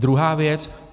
Druhá věc.